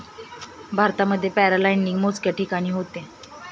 भारतात पॅराग्लायडिंग मोजक्याच ठिकाणी होते.